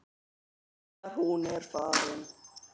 Þegar hún er farin.